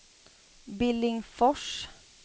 Billingsfors